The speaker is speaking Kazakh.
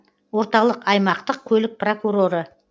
орталық аймақтық көлік прокуроры